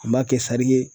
An b'a kɛ sari ye